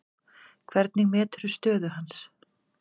Hvernig meturðu stöðu hans?